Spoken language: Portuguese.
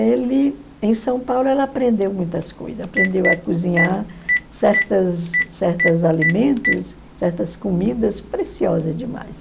Ele, em São Paulo, ela aprendeu muitas coisas, aprendeu a cozinhar certas certas alimentos, certas comidas preciosas demais.